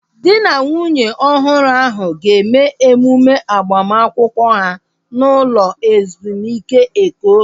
Dị na nwunye ọhụrụ ahu ga-eme emume agbamakwụkwọ ha n'ụlọ ezumike Eko